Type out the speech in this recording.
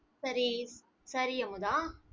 சரி சரி அமுதா